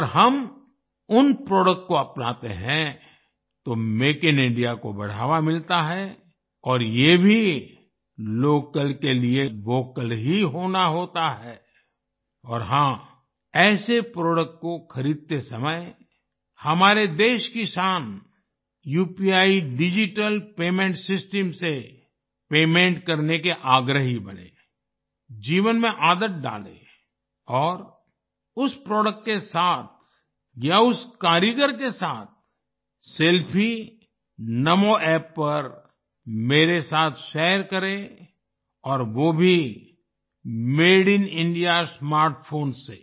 अगर हम उन प्रोडक्ट को अपनाते हैं तो मेक इन इंडिया को बढ़ावा मिलता है और ये भी लोकल के लिए वोकल ही होना होता है और हाँ ऐसे प्रोडक्ट को खरीदते समय हमारे देश की शान उपी डिजिटल पेमेंट सिस्टम से पेमेंट करने के आग्रही बनें जीवन में आदत डालें और उस प्रोडक्ट के साथ या उस कारीगर के साथ सेल्फी NamoApp पर मेरे साथ शेयर करें और वो भी made in India smart phone से